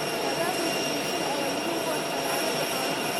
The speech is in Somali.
Abaabulka bulshada ayaa muhiim u ah xanaanada xoolaha.